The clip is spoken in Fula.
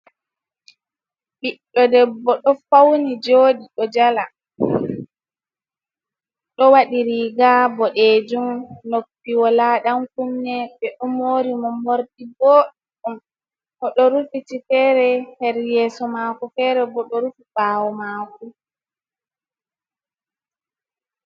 Ɓiɗɗo debbo ɗo fauni jodi, ɗo jala, ɗo waɗi riga boɗejum, noppi wola dan kunne. Ɓe ɗo mori mo morɗi booɗɗum. O do rufiti fere her yeso mako fere bo ɗo rufiti her bawo mako.